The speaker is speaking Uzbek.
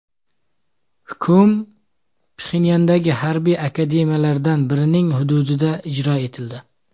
Hukm Pxenyandagi harbiy akademiyalardan birining hududida ijro etildi.